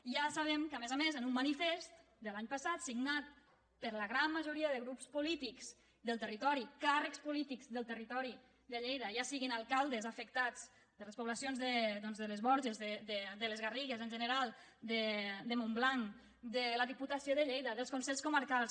i ja sabem que a més a més en un manifest de l’any passat signat per la gran majoria de grups polítics del territori càrrecs polítics del territori de lleida ja siguin alcaldes afec·tats de les poblacions de les borges de les garrigues en general de montblanc de la diputació de lleida dels consells comarcals